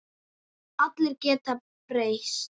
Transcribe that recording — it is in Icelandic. Allir geta breyst.